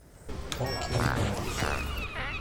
океанариум